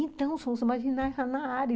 Então, são os marginais lá na área.